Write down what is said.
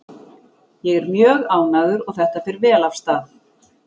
Ég er mjög ánægður og þetta fer vel af stað.